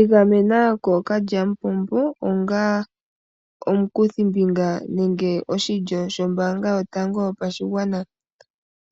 Igamena kokalyamupombo ongaa omukuthimbinga nenge oshilyo shotango shombaanga yopashigwana.